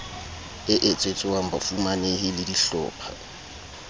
e etsetswang bafumanehi le dihlopha